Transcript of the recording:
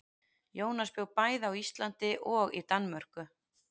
Jónas bjó bæði á Íslandi og í Danmörku.